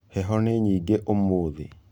Heho nĩ nyingĩ ũmũthĩ.